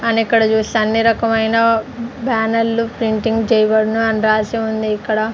And ఇక్కడ చూస్తే అన్ని రకమైన బ్యానర్లు ప్రింటింగ్ చేయబడును అని రాసి ఉంది ఇక్కడ.